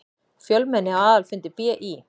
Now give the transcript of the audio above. Fjölmenni á aðalfundi BÍ